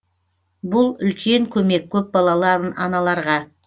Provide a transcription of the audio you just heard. бұл үлкен көмек көпбалалы аналарға